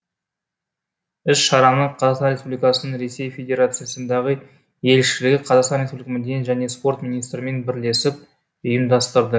іс шараны қазақстан республикасының ресей федерациясындағы елшілігі қазақстан республикасы мәдениет және спорт министрімен бірлесіп ұйымдастырды